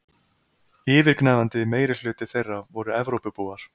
Yfirgnæfandi meirihluti þeirra voru Evrópubúar.